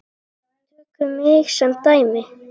Tökum mig sem dæmi.